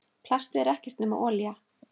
Plastið er ekkert nema olía.